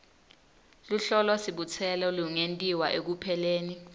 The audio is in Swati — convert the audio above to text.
luhlolosibutselo lungentiwa ekupheleni